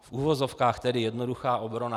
v uvozovkách tedy jednoduchá, obrana.